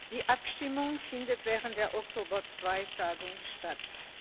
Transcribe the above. Die Abstimmung findet während der Oktober II Tagung statt.